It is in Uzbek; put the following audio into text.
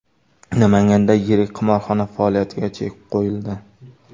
Namanganda yirik qimorxona faoliyatiga chek qo‘yildi.